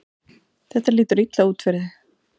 Þetta lítur illa út fyrir þig